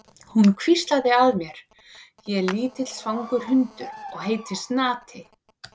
Hún hvíslaði að mér: Ég er lítill svangur hundur og heiti Snati.